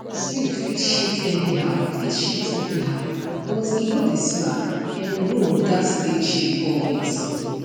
sleep fit shift anyhow fit shift anyhow but e no dey slack en room gats stay chill always